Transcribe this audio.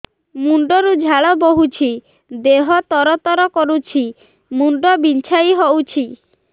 ମୁଣ୍ଡ ରୁ ଝାଳ ବହୁଛି ଦେହ ତର ତର କରୁଛି ମୁଣ୍ଡ ବିଞ୍ଛାଇ ହଉଛି